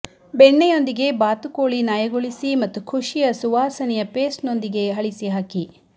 ಬೆಣ್ಣೆಯೊಂದಿಗೆ ಬಾತುಕೋಳಿ ನಯಗೊಳಿಸಿ ಮತ್ತು ಋಷಿಯ ಸುವಾಸನೆಯ ಪೇಸ್ಟ್ನೊಂದಿಗೆ ಅಳಿಸಿ ಹಾಕಿ